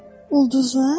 Ulduzlar?